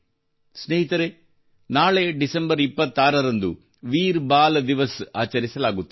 ಸ್ನೇಹಿತರೇ ನಾಳೆ ಡಿಸೆಂಬರ್ 26 ರಂದು ವೀರ್ ಬಾಲ್ ದಿವಸ್ ಆಚರಿಸಲಾಗುತ್ತದೆ